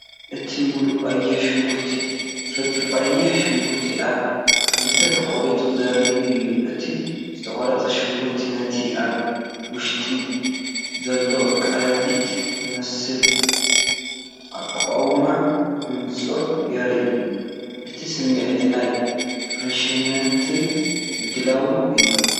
እዚ ምሉእ ቀይሕ ሽጉርቲ ፍርቂ ቀይሕ ሽጉርቲ ኣብ ክልተ ተቖሪጹ ዘርኢ እዩ። እቲ ዝተቖርጸ ሽጉርቲ ነቲ ኣብ ውሽጡ ዘሎ ቀለቤት ዝመስል ኣቃውማ ብንጹር የርኢ። እቲ ስምዒት ናይ ፍረሽነትን ምድላውን እዩ።